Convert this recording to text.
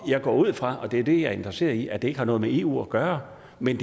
jeg går ud fra og det er det jeg er interesseret i at det ikke har noget med eu at gøre men